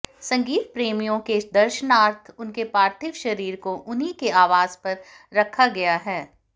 संगीत प्रेमियों के दर्शनार्थ उनके पार्थिव शरीर को उन्हीं के आवास पर रखा गया है